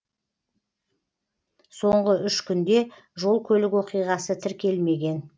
соңғы үш күнде жол көлік оқиғасы тіркелмеген